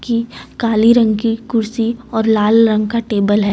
की काले रंग की कुर्सी और लाल रंग का टेबल है।